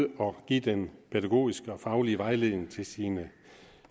give den pædagogiske og faglige vejledning til sine